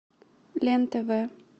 лен тв